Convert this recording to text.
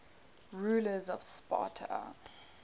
rulers of sparta